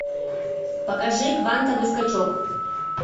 покажи квантовый скачок